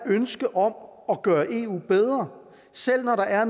ønske om at gøre eu bedre selv når der er